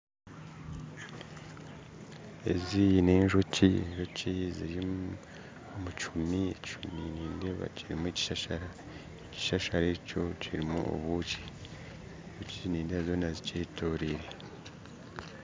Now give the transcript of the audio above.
Ezi n'enjoki ziri omu kihuumi, ekihuumi nindeeba kirimu ekishashara, ekishashara ekyo kirimu obwonki, kandi nindeeba enjoki zoona zikyetooriire